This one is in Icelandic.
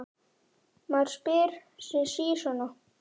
Maður spyr sig sí svona.